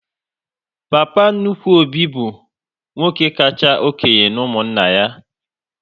Papa nnukwu Obi bụ nwoke kacha okénye n'umunna anyị